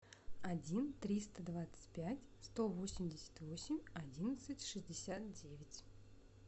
один триста двадцать пять сто восемьдесят восемь одиннадцать шестьдесят девять